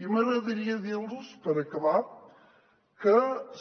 i m’agradaria dir los per acabar que